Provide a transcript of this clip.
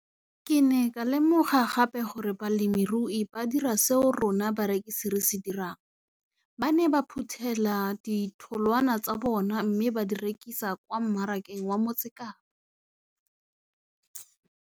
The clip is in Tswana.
Ke ne ka lemoga gape gore balemirui ba dira seo rona barekisi re se dirang - ba ne ba phuthela ditholwana tsa bona mme ba di rekisa kwa marakeng wa Motsekapa.